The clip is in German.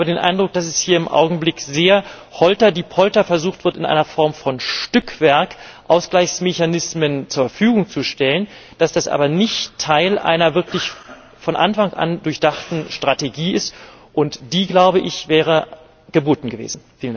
Ich habe den Eindruck, dass hier im Augenblick sehr holterdipolter versucht wird, in einer Form von Stückwerk Ausgleichsmechanismen zur Verfügung zu stellen, dass das aber nicht Teil einer wirklich von Anfang an durchdachten Strategie ist, und die wäre geboten gewesen.